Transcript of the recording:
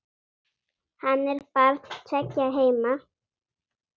Hann er barn tveggja heima.